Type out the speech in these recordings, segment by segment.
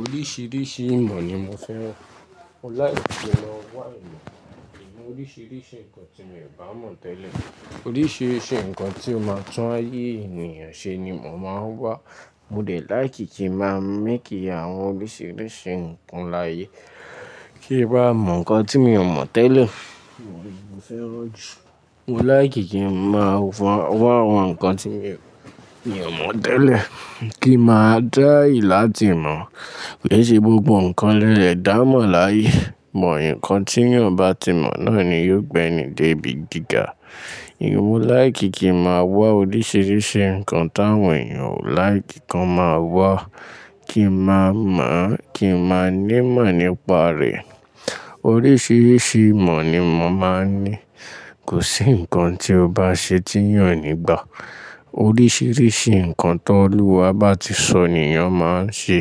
Oríṣiríṣi ìmọ̀ ni mo fẹ́ rán Mo láìkí kin mó wá ìmọ̀ nínú oríṣiríṣi nǹkan tí mi ò bá mọ̀ tẹ́lẹ̀. Oríṣiríṣi nǹkan tó máa tún ayé ènìyàn ṣe ni mò máa ń wá. Mo dẹ̀ láìkí kí màá mákíí àwọn oríṣiríṣi nǹkan láyé kí n bá mọ̀ nǹkan tí mi ò mọ̀ tẹ́lẹ̀. Mo fẹ́ rọ́ ju. Mo láìkí kí ǹ máa wá àwọn nǹkan tí mi ò mọ̀ tẹ́lẹ̀ kí màá dá ìlá tí mọ̀. Ké ṣe gbógbo nǹkan lẹ́ẹ̀ẹ́dámọ̀ láyé. Mọ̀ ìyẹn nǹkan tí ènìyàn bá ti mọ̀ náà ni yóò gbé ni dé ibi gíga. Mó láìkí kí màá wá oríṣiríṣi nǹkan táwọn ènìyàn ò láìkí kí wọ́n máa wá kí màá mọ̀, kí màá ní ìmọ̀ nípa rẹ̀. Oríṣiríṣi ìmọ̀ ni mò máa ń ní. Kò sí nǹkan tí o bá ṣe tí ènìyàn ò ní gbà. Oríṣiríṣi nǹkan tó Olúwa bá ti sọ ni ènìyàn máa ń ṣe.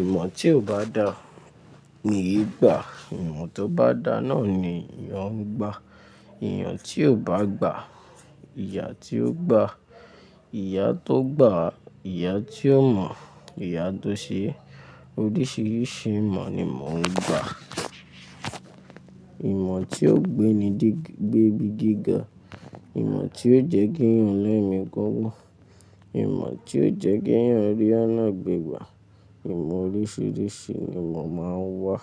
Ìmọ̀ tí ò bá dá ni yìí gbà. Ìmọ̀ tó bá dá náà ni ènìyàn ń gbà. Ìyẹn tí ò bá gbà, ìyà tí ó gba, ìyà tó gbà, ìyà tí ó mọ̀, ìyà tó ṣe é. Oríṣiríṣi ìmọ̀ ni mò ń gbà. Ìmọ̀ tí ó gbé mí dé ibi gíga, ìmọ̀ tí ó jẹ́ ki ẹ́yàn lẹ́mi gigun, ìmọ̀ tí ó jẹ́ ki ẹ́yàn rí ọ̀nà gbẹ̀gba, ìmọ̀ oríṣiríṣi ni mò máa ń wá.